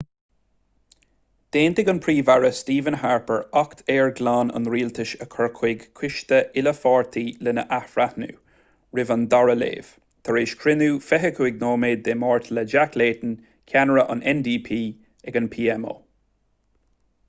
d'aontaigh an príomh-aire stephen harper acht aeir ghlan' an rialtais a chur chuig coiste uile-pháirtí lena athbhreithniú roimh an dara léamh tar éis cruinniú 25 nóiméad dé máirt le jack layton ceannaire an ndp ag an pmo